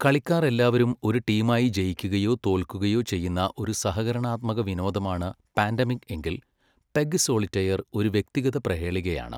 കളിക്കാർ എല്ലാവരും ഒരു ടീമായി ജയിക്കുകയോ തോൽക്കുകയോ ചെയ്യുന്ന ഒരു സഹകരണാത്മക വിനോദമാണ് പാൻഡെമിക് എങ്കിൽ , പെഗ്ഗ് സോളിറ്റയർ ഒരു വ്യക്തിഗത പ്രഹേളികയാണ്.